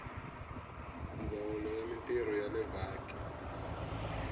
ndzawulo ya mintirho ya vaaki